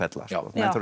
menn þurfa